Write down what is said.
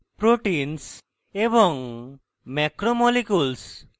proteins এবং macromolecules